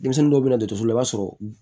Denmisɛnnin dɔw bɛ na dɔtɔrɔso la i b'a sɔrɔ